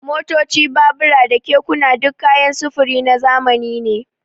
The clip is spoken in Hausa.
Motoci, babura da kekuna duk kayan sufuri na zamani ne.